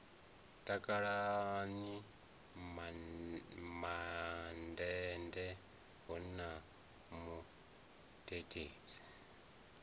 takalani mandende hu na mudededzi